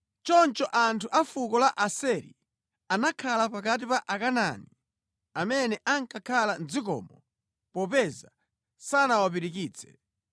Choncho anthu a fuko la Aseri anakhala pakati pa Akanaani amene ankakhala mʼdzikomo popeza sanawapirikitse.